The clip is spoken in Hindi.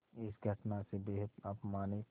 इस घटना से बेहद अपमानित